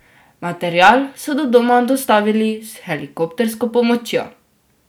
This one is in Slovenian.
Material so do doma dostavili s helikoptersko pomočjo.